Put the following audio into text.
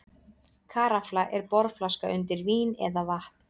Karafla er borðflaska undir vín eða vatn.